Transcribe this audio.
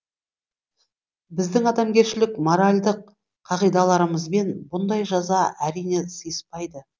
біздің адамгершілік моральдық қағидаларымызбен бұндай жаза әрине сыйыспайды